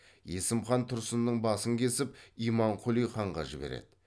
есім хан тұрсынның басын кесіп имамқұли ханға жібереді